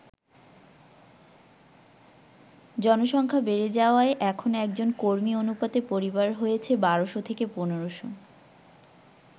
জনসংখ্যা বেড়ে যাওয়ায় এখন একজন কর্মী অনুপাতে পরিবার হয়েছে বারোশ থেকে পনোরোশো।